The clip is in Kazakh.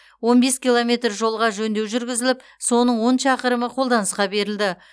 он бес километр жолға жөндеу жүргізіліп соның он шақырымы қолданысқа берілді